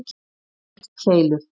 eldkeilur